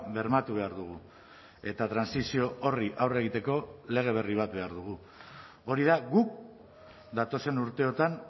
bermatu behar dugu eta trantsizio horri aurre egiteko lege berri bat behar dugu hori da guk datozen urteotan